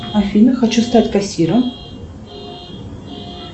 афина хочу стать кассиром